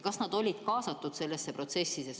Kas nad olid kaasatud sellesse protsessi?